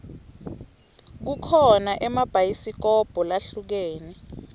kukho naemabhayisikobho lahlukene